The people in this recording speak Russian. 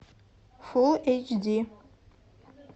фулл эйч ди